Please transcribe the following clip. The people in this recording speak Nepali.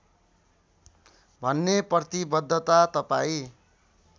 भन्ने प्रतिवद्धता तपाईँ